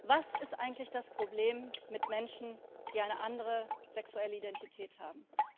Was ist eigentlich das Problem mit Menschen, die eine andere sexuelle Identität haben?